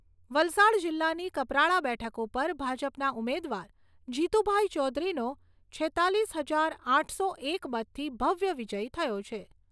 વલસાડ જિલ્લાની કપરાડા બેઠક ઉપર ભાજપના ઉમેદવાર જીતુભાઈ ચૌધરીનો છેત્તાલીસ હજાર આઠસો એક મતથી ભવ્ય વિજય થયો છે.